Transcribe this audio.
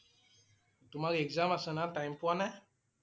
তোমাৰ exam আছে না time পোৱা নে?